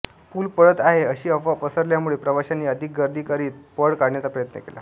पूल पडत आहे अशी अफवा पसरल्यामुळे प्रवाशांनी अधिक गर्दी करीत पळ काढण्याचा प्रयत्न केला